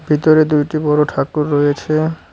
ভিতরে দুইটি বড় ঠাকুর রয়েছে।